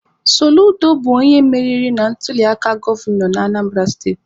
Soludo bụ onye meriri na ntuliaka gọvanọ Anambara steti.